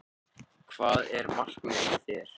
Hvað er markmiðið hjá þér?